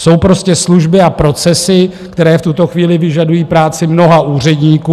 Jsou prostě služby a procesy, které v tuto chvíli vyžadují práci mnoha úředníků.